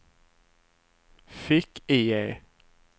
fick-IE